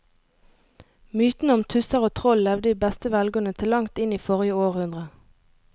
Mytene om tusser og troll levde i beste velgående til langt inn i forrige århundre.